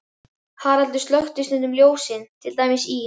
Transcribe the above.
Haraldur slökkti stundum ljós, til dæmis í